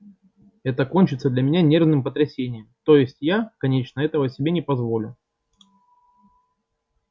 это кончится для меня нервным потрясением то есть я конечно этого себе не позволю